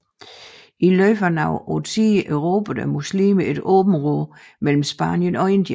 I løbet af nogle årtier erobrede muslimerne et område mellem Spanien og Indien